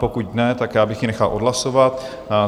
Pokud ne, tak já bych ji nechal odhlasovat.